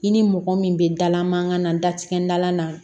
I ni mɔgɔ min bɛ dala mankan na da tigɛ da na